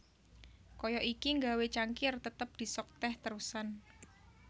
Kaya iki nggawé cangkir tetep disok teh terusan